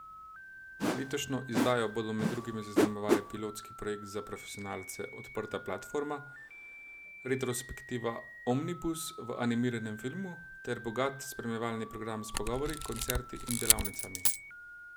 Letošnjo izdajo bodo med drugim zaznamovali pilotski projekt za profesionalce Odprta platforma, retrospektiva Omnibus v animiranem filmu ter bogat spremljevalni program s pogovori, koncerti in delavnicami.